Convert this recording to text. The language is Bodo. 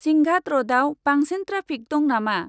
सिंघाद रडाव बांसिन ट्राफिक दं नामा?